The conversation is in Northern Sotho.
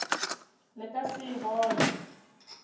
le ka se e bone